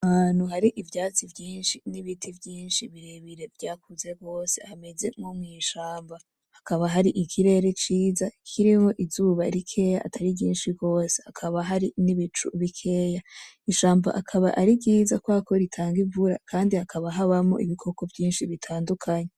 Ahantu hari ivyatsi vyinshi n,ibiti vyinshi birebire vyakuze gose hameze nko mw,ishamba hakaba hari ikirere ciza kiriho Izuba rikeya atari ryinshi gose hakaba hari n,ibicu bikeya ,ishamba rikaba ari ryiza kubera ko ritanga imvura kandi hakaba habamo ibikoko vyinshi bitandukanye.